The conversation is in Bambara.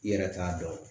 I yɛrɛ t'a dɔn